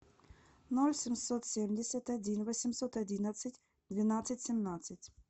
ноль семьсот семьдесят один восемьсот одиннадцать двенадцать семнадцать